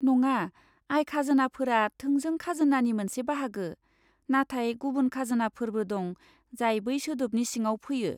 नङा, आय खाजोनाफोरा थोंजों खाजोनानि मोनसे बाहागो, नाथाय गुबुन खाजोनाफोरबो दं जाय बै सोदोबनि सिङाव फैयो।